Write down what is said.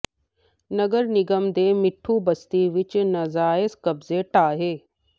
ਨਗਰ ਨਿਗਮ ਨੇ ਮਿੱਠੂ ਬਸਤੀ ਵਿੱਚ ਨਾਜਾਇਜ਼ ਕਬਜ਼ੇ ਢਾਹੇ